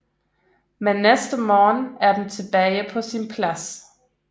Men næste morgen er den tilbage på sin plads